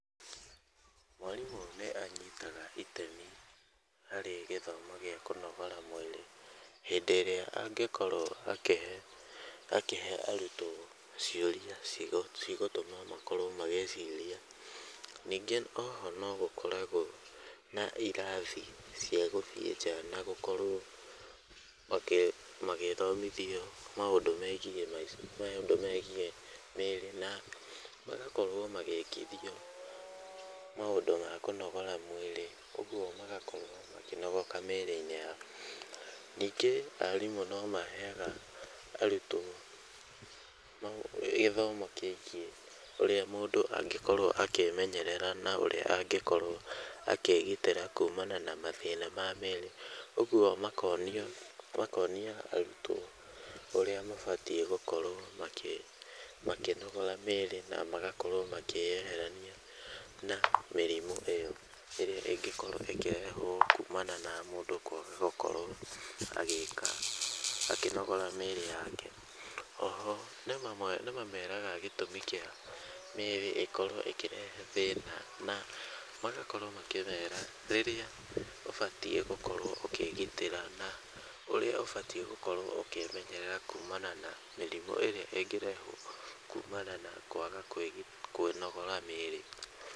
Mwarimũ nĩ anyitaga itemi harĩ gĩthomo gĩa kũnogora mwĩrĩ hĩndĩ ĩrĩa angĩkorwo akĩhe, akĩhe arutwo ciũria cigũtũma makorwo magĩciiria. Ningĩ oho no gũkoragwo na irathi cia gũthiĩ nja na gũkorwo magĩthomithio maũndũ megiĩ maica, maũndũ megiĩ mĩrĩ na magakorwo magĩkithio maũndũ ma kũnogora mwĩrĩ, ũguo magakorwo makĩnogoka mĩrĩ-inĩ yao. Ningĩ arimũ no maheaga arutwo gĩthomo kĩgiĩ ũrĩa mũndũ angĩkorwo angĩkorwo akĩĩmenyerera na ũrĩa angĩkorwo akĩĩgitĩra kumana na mathĩna ma mĩrĩ. Ũguo makonia arutwo ũrĩa mabatiĩ gũkorwo makĩnogora mĩrĩ na magakorwo makĩeherania na mĩrimũ ĩo ĩrĩa ĩngĩkorwo ĩkĩrehwo kumana na mũndũ gũkorwo akĩaga gũkorwo agĩka, akĩnogora mĩĩrĩ yake. Oho nĩ mameraga gĩtũmi kĩa mĩrĩ ĩkorwo ĩkĩrehe thĩna na magakorwo makĩmera rĩrĩa ũbatiĩ gũkorwo ũkĩĩgitĩra na ũrĩa ũbatiĩ gũkorwo ũkĩĩmenyerera kumana na mĩrimũ ĩrĩa ĩngĩrehwo kumana na kwaga kwĩnogora mĩrĩ.